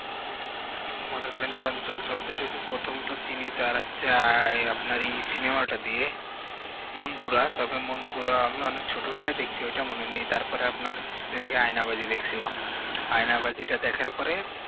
মনে করেন চঞ্চল চৌধুরীর প্রথম তো আর হচ্ছে আহ আপনার এই cinema টা দিয়ে মনপুরা তবে মনপুরা আমি ছোটবেলায় দেখছি ওইটা মনে নেই তারপরে আপনার কিছুদিন আগে আয়নাবাজি দেখছিলাম আয়নাবাজি টা দেখার পরে